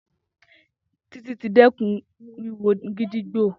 Titi ti dẹkun wiwo gídígbò.